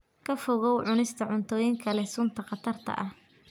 Ka fogow cunista cuntooyinka leh sunta khatarta ah.